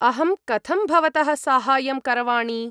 अहं कथं भवतः साहाय्यं करवाणि?